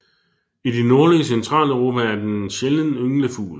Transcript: I det nordlige Centraleuropa er den en sjælden ynglefugl